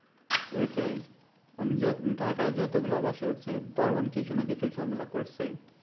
ঐটাই আমি যত ঢাকায় যত গুলা বাসায় উঠছি দারোয়ান কিছু না কিছু ঝামেলা করছেই